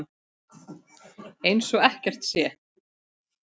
Eins og ekkert sé!